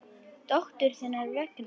Dóttur þinnar vegna.